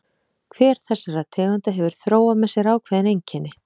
Hver þessara tegunda hefur þróað með sér ákveðin einkenni.